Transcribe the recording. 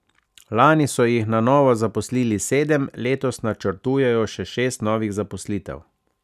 Lani so jih na novo zaposlili sedem, letos načrtujejo še šest novih zaposlitev.